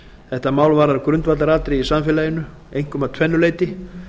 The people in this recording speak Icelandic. þetta mál varðar grundvallaratriði i samfélaginu einkum að tvennu leyti